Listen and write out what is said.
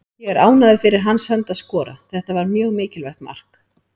Ég er ánægður fyrir hans hönd að skora, þetta var mjög mikilvægt mark.